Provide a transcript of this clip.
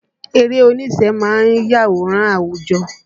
Eré oníṣe ma ń yàwòrán àwùjọ